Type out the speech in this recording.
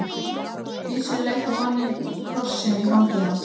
Gissur leit á manninn og krossinn í fangi hans.